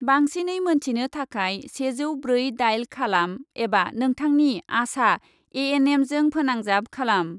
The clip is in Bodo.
बांसिनै मोनथिनो थाखाय सेजौ ब्रै डायेल खालाम एबा नोंथांनि आशा ए एन एमजों फोनांजाब खालाम।